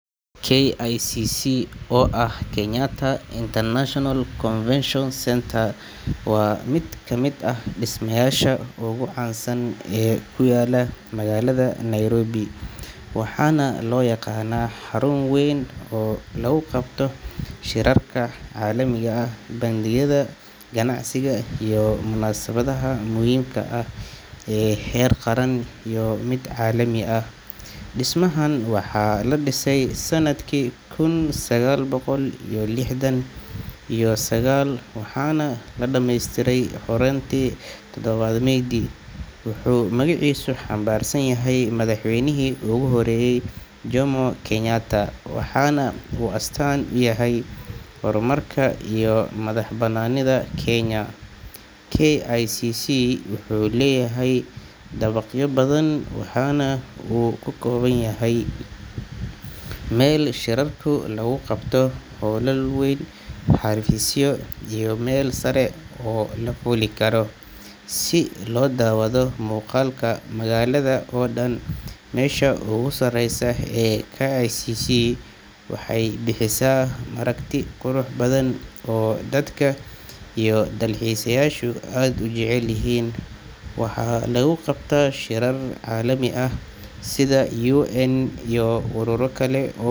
KICC oo ah kenyatta International confession Centre waa mid kamiid ah dismayasha ugu cansan ee kuyala magalaada nairobi, waxana lo yaqana xarun weyn oo lagu qabto shirarka calimiga ah bangiyaada ganacsiga iyo munasabaadaha muhimka ah, waxana u astan uyaha hormarka kenya, si lo dawadho muqalka wadanka oo dan wuxuu bixi meel dadka ee faristan, dalalku un iyo urura kale.